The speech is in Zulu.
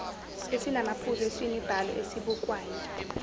esinamaphuzu esemibhalo esibukwayo